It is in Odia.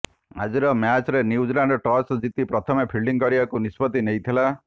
ଆଜିର ମ୍ୟାଚ୍ରେ ନ୍ୟୁଜିଲାଣ୍ଡ୍ ଟସ୍ ଜିତି ପ୍ରଥମେ ଫିଲ୍ଡିଂ କରିବାକୁ ନିଷ୍ପତ୍ତି ନେଇଥିଲା